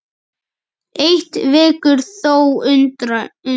Eitt vekur þó undrun.